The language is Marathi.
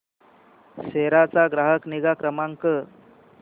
सेरा चा ग्राहक निगा क्रमांक